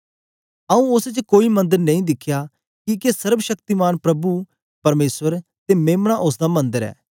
आऊँ उस्स च कोई मंदर नेई दिखया किके सर्वशक्तिमान प्रभु परमेसर ते मेम्ना उस्स दा मंदर ऐ